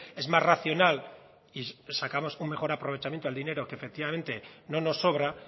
es más racional y sacamos un mejor aprovechamiento al dinero que efectivamente no nos sobra